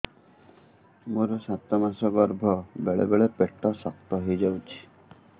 ମୋର ସାତ ମାସ ଗର୍ଭ ବେଳେ ବେଳେ ପେଟ ଶକ୍ତ ହେଇଯାଉଛି